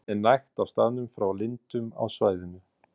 Vatn er nægt á staðnum frá lindum á svæðinu.